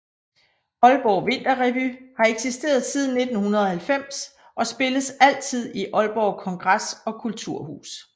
Aalborg Vinterrevy har eksisteret siden 1990 og spilles altid i Aalborg Kongres og Kulturhus